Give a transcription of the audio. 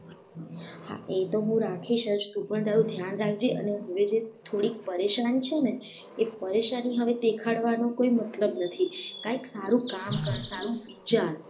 હા એતો હું તો રાખીશ જ તું પણ તારું ધ્યાન રાખજે અને હવે થોડીક પરેશાની છે ને એ પરેશાની દેખાડવાનો કોઈ મતલબ નથી કઈ સારું કામ કર સારું વિચાર